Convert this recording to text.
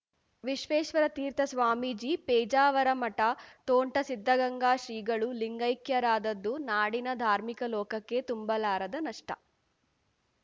ವಿಶ್ವೇಶತೀರ್ಥ ಸ್ವಾಮೀಜಿ ಪೇಜಾವರ ಮಠ ತೋಂಟದ ಸಿದ್ಧಲಿಂಗ ಶ್ರೀಗಳು ಲಿಂಗೈಕ್ಯರಾದದ್ದು ನಾಡಿನ ಧಾರ್ಮಿಕ ಲೋಕಕ್ಕೆ ತುಂಬಲಾರದ ನಷ್ಟ